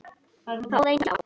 Þá reyndi á.